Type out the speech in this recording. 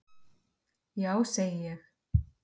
Já segi ég.